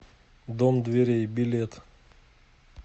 дом дверей билет